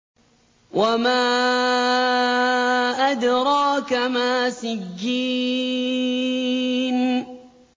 وَمَا أَدْرَاكَ مَا سِجِّينٌ